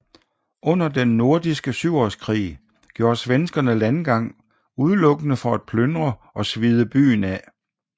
Under Den Nordiske Syvårskrig gjorde svenskerne landgang udelukkende for at plyndre og svide byen af